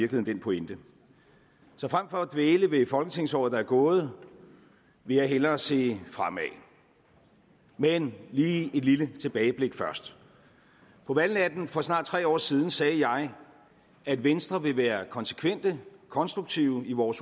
den pointe så frem for at dvæle ved folketingsåret der er gået vil jeg hellere se fremad men lige et lille tilbageblik først på valgnatten for snart tre år siden sagde jeg at venstre ville være konsekvente konstruktive i vores